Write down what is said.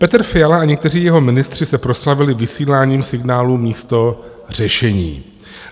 Petr Fiala a někteří jeho ministři se proslavili vysíláním signálu místo řešení.